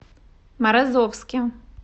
морозовске